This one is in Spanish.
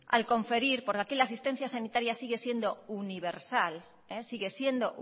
al conferir porque aquí la tarjeta sanitaria sigue siendo